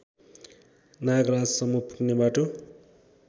नागराजसम्म पुग्ने बाटो